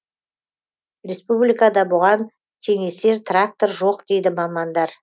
республикада бұған теңесер трактор жоқ дейді мамандар